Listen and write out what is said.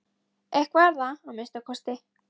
Eitthvað er það að minnsta kosti.